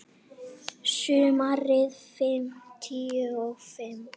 Sumarið fimmtíu og fimm.